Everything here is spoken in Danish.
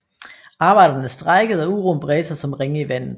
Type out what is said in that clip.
Arbejderne strejkede og uroen bredte sig som ringe i vandet